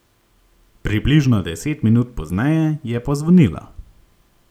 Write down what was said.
Približno deset minut pozneje je pozvonilo.